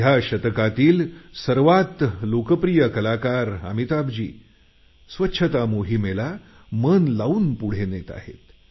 या शतकातील सर्वात लोकप्रिय कलाकार अमिताभजी स्वच्छता मोहिमेला मन लावून पुढे नेत आहेत